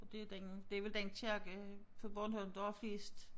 Og det den det vel den kirke på Bornholm der har flest